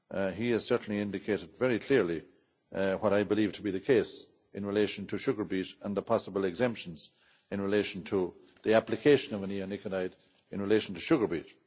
He has certainly indicated very clearly what I believe to be the case in relation to sugar beet and the possible exemptions in relation to the application of neonicotinoids in relation to sugar beet.